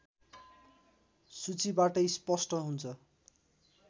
सूचीबाटै स्पष्ट हुन्छ